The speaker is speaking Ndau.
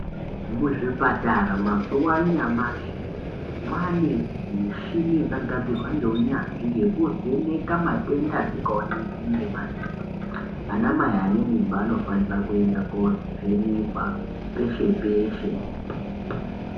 Muzvipatara mazuva anyamashi mwane mushini yakagadzirwa ngeunyanzvi yekuvheneka matenda asingaoneki ana mai ane mimba anofanira kuenda kovhenekwa peshe peshe.